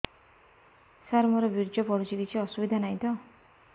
ସାର ମୋର ବୀର୍ଯ୍ୟ ପଡୁଛି କିଛି ଅସୁବିଧା ନାହିଁ ତ